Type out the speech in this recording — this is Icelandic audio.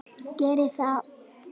Geri það!